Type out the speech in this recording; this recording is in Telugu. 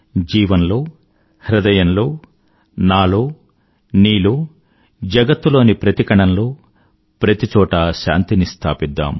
జీవంలో హృదయంలో నాలో నీలో జగత్తు లోని ప్రతి కణంలో ప్రతి చోటా శాంతిని స్థాపిద్దాం